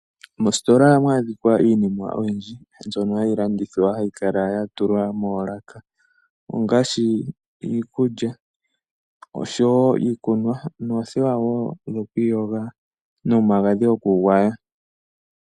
Moositola ohamu adhika iinima oyindji mbyono hayi landithwa hayi kala yatulwa moolaka ongaashi iikulya, iikunwa noothewa dhokwi yoga nomagadhi goku gwaya.